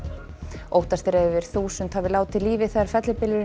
óttast er að yfir þúsund hafi látið lífið þegar fellibylurinn